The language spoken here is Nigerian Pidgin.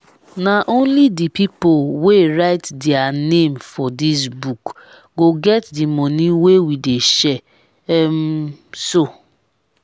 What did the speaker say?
na only the people wey write dia name for dis book go get the money wey we dey share um so